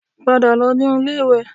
Padà lọ inú ilé-ìwẹ̀